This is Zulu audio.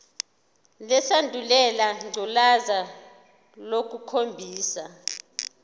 lesandulela ngculazi lukhombisa